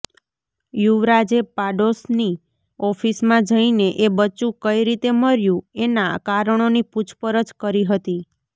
યુવરાજે પાડોશની ઑફિસમાં જઈને એ બચ્ચું કઈ રીતે મર્યું એનાં કારણોની પૂછપરછ કરી હતી